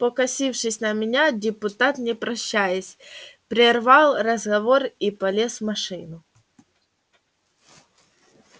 покосившись на меня депутат не прощаясь прервал разговор и полез в машину